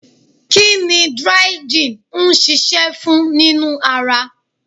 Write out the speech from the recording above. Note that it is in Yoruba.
Kí ni dry gin ń ṣiṣẹ́ fún nínú ara?